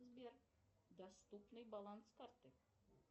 сбер доступный баланс карты